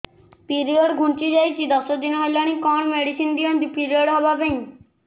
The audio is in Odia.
ପିରିଅଡ଼ ଘୁଞ୍ଚି ଯାଇଛି ଦଶ ଦିନ ହେଲାଣି କଅଣ ମେଡିସିନ ଦିଅନ୍ତୁ ପିରିଅଡ଼ ହଵା ପାଈଁ